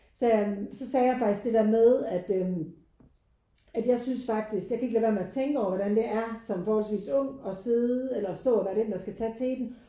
Sagde jeg så sagde jeg faktisk det der med at øh at jeg synes faktisk jeg kan ikke lade være med at tænke over hvordan det er som forholdsvis ung og sidde eller stå og være den der skal tage teten